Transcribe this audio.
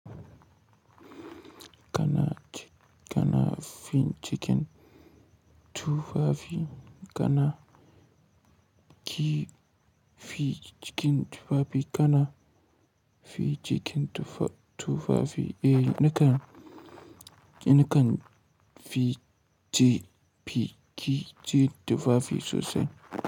Kana ci, kana fin cikin tufafi, kana ki fi cikin tufafi, kana fi cikin tufa tufafi, eh, nakan, nakan fi ce, fi ci tufafi sosai.